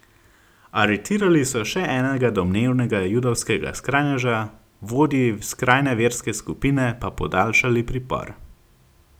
Aretirali so še enega domnevnega judovskega skrajneža, vodji skrajne verske skupine pa podaljšali pripor.